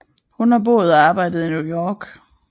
Hun har boet og arbejdet i New York